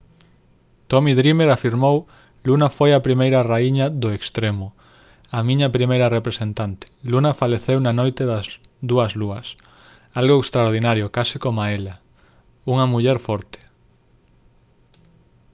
tommy dreamer afirmou: «luna foi a primeira raíña do «extremo». a miña primeira representante. luna faleceu na noite das dúas lúas. algo extraordinario case coma ela. unha muller forte»